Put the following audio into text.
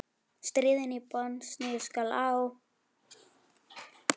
Stríðið í Bosníu skall á.